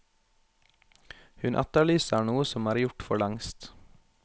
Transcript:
Hun etterlyser noe som er gjort forlengst.